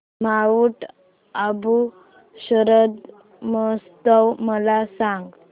Mount Abu शरद महोत्सव मला सांग